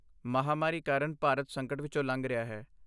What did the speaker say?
ਮਹਾਂਮਾਰੀ ਕਾਰਨ ਭਾਰਤ ਸੰਕਟ ਵਿੱਚੋਂ ਲੰਘ ਰਿਹਾ ਹੈ।